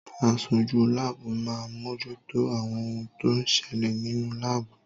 Aṣojú láàbù máa ń mojútó àwọn ohun tó ń ṣẹlẹ̀ nínú láàbù.